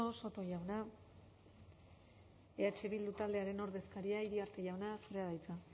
eskerrik asko soto jauna eh bildu taldearen ordezkaria iriarte jauna zurea da hitza